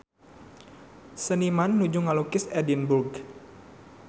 Seniman nuju ngalukis Edinburg